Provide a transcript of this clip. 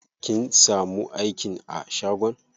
Kin samu aikin a shagon?